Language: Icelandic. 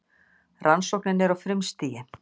Rannsóknin er á frumstigi.